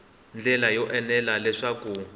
ndlela yo enela naswona ku